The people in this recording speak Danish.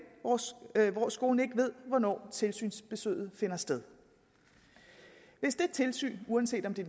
hvor skolen ikke ved hvornår tilsynsbesøget finder sted hvis det tilsyn uanset om det